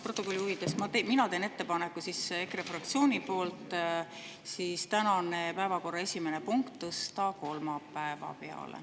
Protokolli huvides teen mina EKRE fraktsiooni poolt ettepaneku tänase päevakorra esimene punkt tõsta kolmapäeva peale.